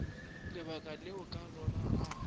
lebaka leo ka lona a